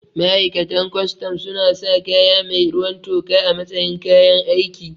Ma'aikatan kustum suna sa kaya mai ruwan toka a matsayin kayan aiki